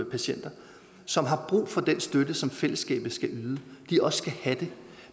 patienter som har brug for den støtte som fællesskabet skal yde også skal have det